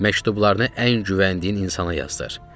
Məktublarını ən güvəndiyin insana yazdır.